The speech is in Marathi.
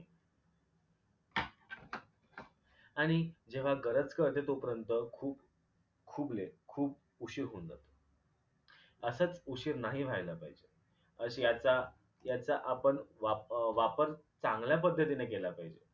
आणि जेव्हा गरज कळते तोपर्यंत खूप खूप लेट खूप उशीर होऊन जातो. असच उशीर नाही व्हायला पाहिजे अशी याचा याचा आपण वाप वापर चांगल्या पद्धतीनं केला पाहिजे